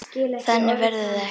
Þannig verður það ekki.